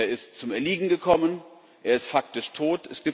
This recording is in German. Er ist zum Erliegen gekommen, er ist faktisch tot.